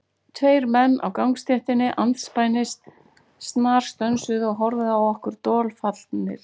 Tveir menn á gangstéttinni andspænis snarstönsuðu og horfðu á okkur dolfallnir.